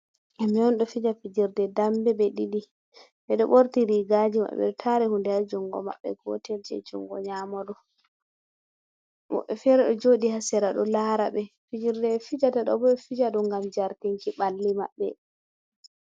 Himɓe on ɗo fija fijerde dambe ɓe ɗiɗi . Ɓe ɗo ɓorti rigaji maɓɓe ɗo tari hunde ha jungo maɓɓe. Gotel jei jungo nyaamo ɗo. Woɓɓe fere ɗo joɗi ha sera ɗo lara ɓe, fijerde ɓe fijata ɗo bo ɓe ɗo fija ɗum ngam jartinki ɓalli maɓɓe.